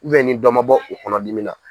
ni dɔ man bɔ o kɔnɔdimi na.